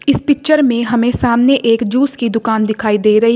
इस पिक्चर में हमें सामने एक जूस की दुकान दिखाई दे रही--